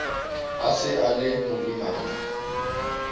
a se a le moimana